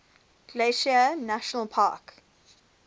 glacier national park